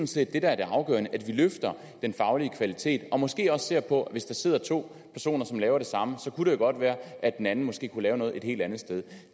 set det der er det afgørende nemlig at vi løfter den faglige kvalitet og måske også ser på at hvis der sidder to personer som laver det samme så kunne det jo godt være at den anden måske kunne lave noget et helt andet sted